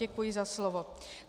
Děkuji za slovo.